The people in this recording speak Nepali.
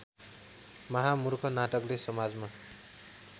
महामुर्ख नाटकले समाजमा